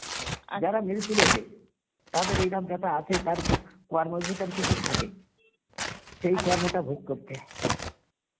যারা মৃতু লোকে তাদের এইরম বেথা আছে তার কো~ কর্মর ভিতরে কিছু থাকে সেই কর্মটা ভোগ করছে